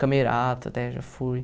Camerata, até, já fui.